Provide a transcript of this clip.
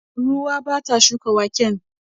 Ruwa ya bata shukan waken.